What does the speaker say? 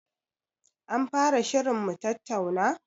An fara shirin mutattauna?